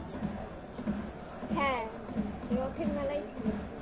হ্যাঁ রথের মেলায় ছিল